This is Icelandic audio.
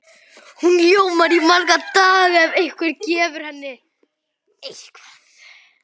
Hún ljómar í marga daga ef einhver gefur henni eitthvað.